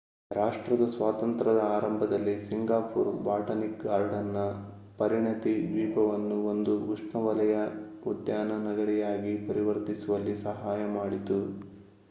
ರಾಷ್ಟ್ರದ ಸ್ವಾತಂತ್ರದ ಆರಂಭದಲ್ಲಿ ಸಿಂಗಾಪುರ್ ಬಾಟನಿಕ್ ಗಾರ್ಡನ್'ನ ಪರಿಣತಿ ದ್ವೀಪವನ್ನು ಒಂದು ಉಷ್ಣವಲಯ ಉದ್ಯಾನ ನಗರಿಯಾಗಿ ಪರಿವರ್ತಿಸುವಲ್ಲಿ ಸಹಾಯ ಮಾಡಿತು